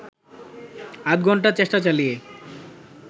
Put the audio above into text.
আধঘণ্টা চেষ্টা চালিয়ে